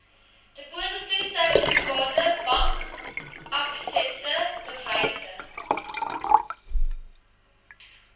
depositosertifikate bankaksepte bewyse